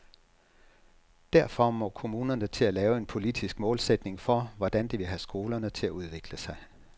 Derfor må kommunerne til at lave en politisk målsætning for, hvordan de vil have skolerne til at udvikle sig.